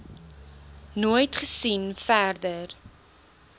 nooit gesien verder